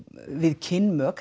við kynmök